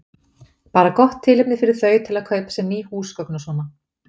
Bara gott tilefni fyrir þau til að kaupa sér ný húsgögn og svona.